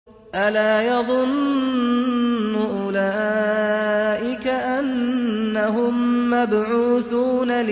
أَلَا يَظُنُّ أُولَٰئِكَ أَنَّهُم مَّبْعُوثُونَ